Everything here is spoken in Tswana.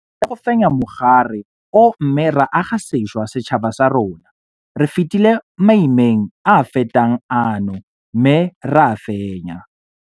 Re tlile go fenya mogare o mme ra aga sešwa setšhaba sa rona. Re fetile maimeng a a fetang ano mme ra a fenya.